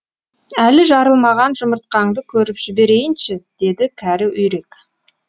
әлі жарылмаған жұмыртқаңды көріп жіберейінші деді кәрі үйрек